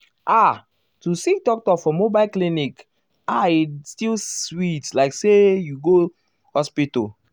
ah to see doctor for mobile clinic ah still sweet um like say you go go um hospital.